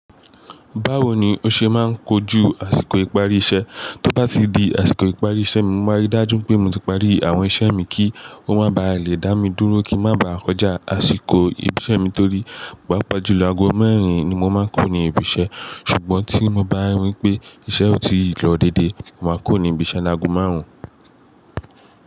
Báwo ni o ṣe máa ń kojú àsìkò ìparí iṣẹ́? Tó bá ti di àsìkò ìparí iṣẹ́ mi, mo máa rí dájú pé mo ti parí àwọn iṣẹ́ mi kí ó máa ba à lè dá mi dúró kí ń má ba à kọjá àsìkò ibi iṣẹ́ mi torí paapa jùlọ aago mẹ́rin ni mo máa ń kuro ní ibi iṣẹ́. Ṣùgbọ́n tí mo bá rí wipé iṣẹ́ ò tí ì lọ déedé, màá kuro ní ibi iṣẹ́ laágo márùn-ún.